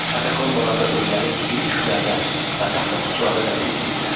Katakombalarda ölüləri iri küplərdə və taxta qutularda dəfn edirdilər.